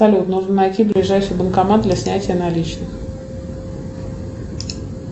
салют нужно найти ближайший банкомат для снятия наличных